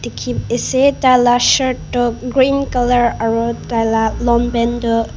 ase tai la shirt toh green colour aru tai la longpant tu.